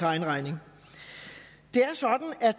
egen regning det er sådan at